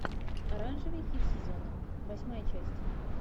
оранжевый хит сезона восьмая часть